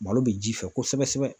Malo bɛ ji fɛ kosɛbɛ sɛbɛ.